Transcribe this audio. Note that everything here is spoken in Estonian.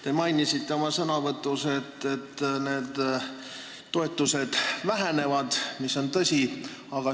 Te mainisite oma sõnavõtus, et need toetused vähenevad, mis on tõsi.